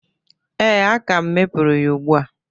Ee, aka m mepuru ya ugbu a.